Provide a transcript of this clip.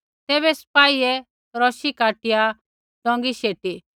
तैबै सिपाहियै रौशी काटिया डोंगी शढ़ाई शेटी